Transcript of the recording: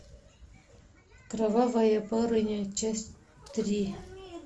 кровавая барыня часть три